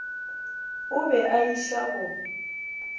o be a šia go